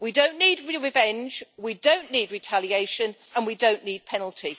We don't need revenge, we don't need retaliation and we don't need penalty.